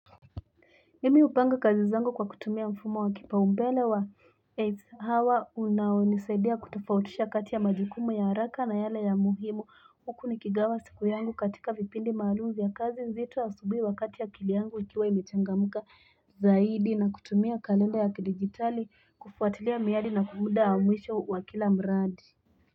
Mimi upanga kazi zangu kwa kutumia mfumo wa kipa umbele wa. Eitzi hawa, unao nisaidia kutofautisha kati ya majukumu ya haraka na yale ya muhimu. Hukuni kigawa sikuyangu katika vipindi maluum vya kazi zito asubui wakati akili yangu ikiwa imechangamka zaidi na kutumia kalenda ya kidijitali, kufuatilia miyadi na muda wa mwisho wa kila mradi.